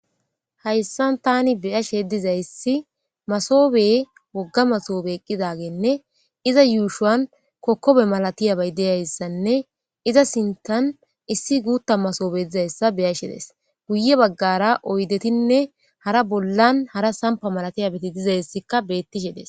Hayssan tani beyashe dizayssi masobe wogga masoobe eqqidagenne iza yuushuwan kokkobe malatiyabey deyayssanne iza sintan issi guutta masoobe dizayssa beyashe des guye baggara oydetinne hara bollan hara sampa malatiyabeti dizayssikka bettishe des.